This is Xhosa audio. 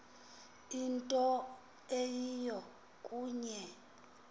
into eyiyo kuye